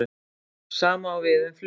Sama á við um flugið.